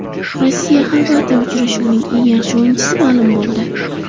RossiyaXorvatiya uchrashuvining eng yaxshi o‘yinchisi ma’lum bo‘ldi.